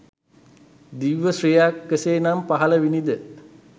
දිව්‍ය ශ්‍රීයක් කෙසේ නම් පහළ විණි ද?